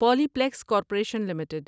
Polyplex corporation limited